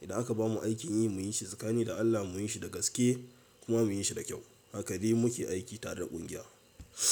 Idan aka bamu aikin yi muyin shi tsakanin da Allah muyin shi da gaske kuma muyin shi da kyau. Haka dai muke aiki tare da ƙungiya.